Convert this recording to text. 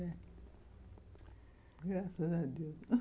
Graças a Deus.